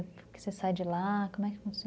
Porque você sai de lá, como é que funciona?